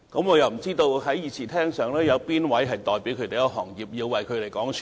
我又不知道在議事廳內有哪位議員代表這個行業，要替他們發聲。